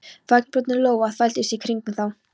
Vængbrotin lóa þvældist í kringum þá.